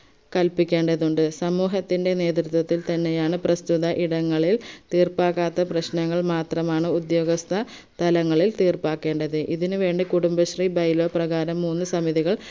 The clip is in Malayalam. കല്പിക്കേണ്ടതുണ്ട് സമൂഹത്തിന്റെ നേതൃത്വത്തിൽ തന്നെയാണ് പ്രസ്തുത ഇടങ്ങളിൽ തീർപ്പാക്കാത്ത പ്രശ്നങ്ങൾ മാത്രമാണ് ഉദ്യോഗസ്ഥ തലങ്ങളിൽ തീർപ്പാക്കേണ്ടത് ഇതിനുവേണ്ടി കുടുംബശ്രീ by law പ്രകാരം മൂന്ന് സമിതികൾ